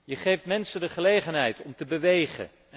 Je geeft mensen de gelegenheid om te bewegen.